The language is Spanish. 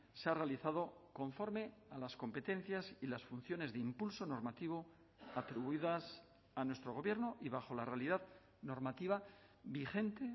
se ha realizado conforme a las competencias y las funciones de impulso normativo atribuidas a nuestro gobierno y bajo la realidad normativa vigente